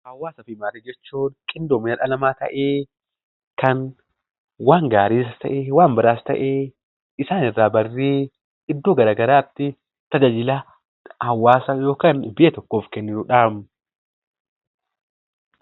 Hawwaasaa fi maatii jechuun qindoomina dhala namaa ta'ee kan waan gaariis ta'ee; waan badaas ta'ee isaan irraa barree iddoo garaa garaatti tajaajila hawwaasa yookiin biyya tokkoof kennuudha.